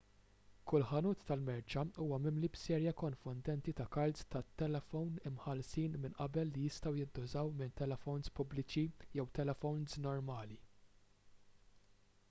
kull ħanut tal-merċa huwa mimli b'serje konfondenti ta' kards tat-telefown imħallsin minn qabel li jistgħu jintużaw minn telefowns pubbliċi jew telefowns normali